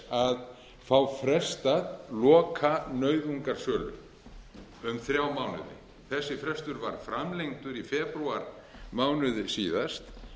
að fá frestað lokanauðungarsölu um þrjá mánuði þessi frestur var framlengdur í febrúarmánuði síðast